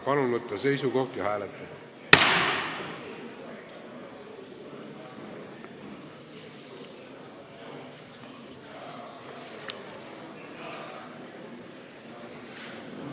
Palun võtta seisukoht ja hääletada!